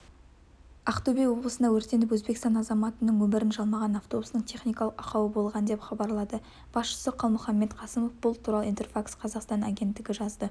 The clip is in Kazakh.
ақтөбе облысында өртеніп өзбекстан азаматының өмірін жалмаған автобустың техникалық ақауы болған деп хабарлады басшысы қалмұханбет қасымов бұл туралы интерфакс-қазақстан агенттігі жазды